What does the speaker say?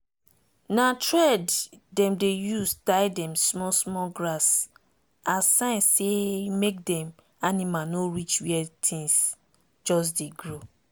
na thread dem dey use tie dem small small grass as sign say make dem animal no reach where things just dey grow.